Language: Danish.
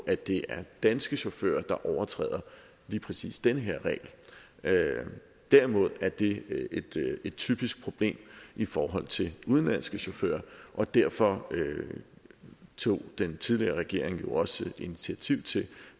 at det er danske chauffører der overtræder lige præcis den her regel derimod er det et typisk problem i forhold til udenlandske chauffører og derfor tog den tidligere regering jo også initiativ til